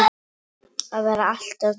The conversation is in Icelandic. Að vera alltaf til staðar.